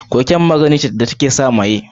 Cocaine magani ce wanda take sa maye.